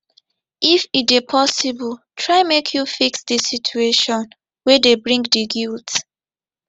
if e dey possible try make you fix di situation wey dey bring di guilt